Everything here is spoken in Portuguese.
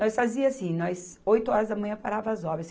Nós fazia assim, nós oito horas da manhã paravas as obras.